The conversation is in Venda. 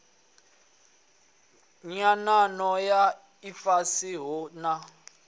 nyanano na ifhasi hu na